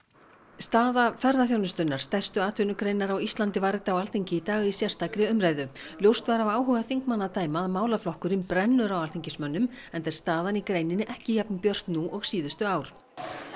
staða ferðaþjónustunnar stærstu atvinnugreinar á Íslandi var rædd á Alþingi í dag í sérstakri umræðu ljóst var af áhuga þingmanna að dæma að málaflokkurinn brennur á alþingismönnum enda er staðan í greininni ekki jafn björt nú og síðustu ár